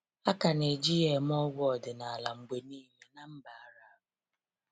A ka neji ya eme ọgwụ ọdinala mgbe niile ná mba Arab.